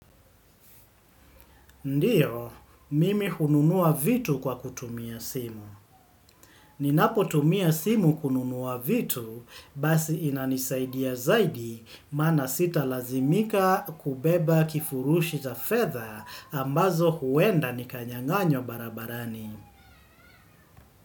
Ndiyo, mimi ununua vitu kwa kutumia simu. Ninapotumia simu kununua vitu, basi inanisaidia zaidi maana sitalazimika kubeba kifurushi za fedha ambazo huenda nikanyang'anywa barabarani.